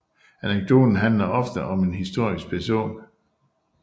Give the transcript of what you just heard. Anekdoten handler oftest om en historisk person